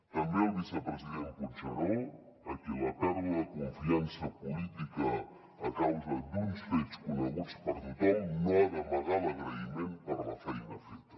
també al vicepresident puigneró a qui la pèrdua de confiança política a causa d’uns fets coneguts per tothom no ha d’amagar l’agraïment per la feina feta